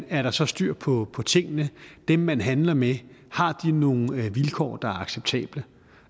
er så styr på på tingene har dem man handler med nogle vilkår der er acceptable